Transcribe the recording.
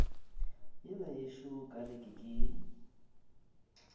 yela yešo ka leke ke